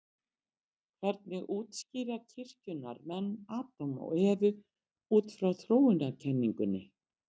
Hvernig útskýra kirkjunnar menn Adam og Evu út frá þróunarkenningunni?